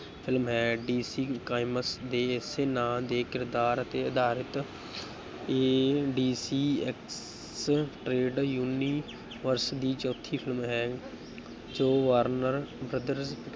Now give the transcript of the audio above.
Film ਹੈ, DC comics ਦੇ ਏਸੇ ਨਾਂਅ ਦੇ ਕਿਰਦਾਰ ਤੇ ਅਧਾਰਿਤ ਇਹ ਡੀਸੀ universe ਦੀ ਚੌਥੀ film ਹੈ ਜੋ ਵਾਰਨਰ brother